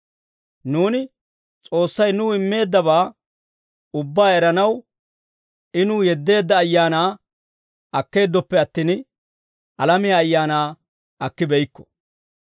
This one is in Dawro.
Nuuni S'oossay nuw immeeddabaa ubbaa eranaw I nuw yeddeedda Ayaanaa akkeeddoppe attin, alamiyaa ayaanaa akkibeykko.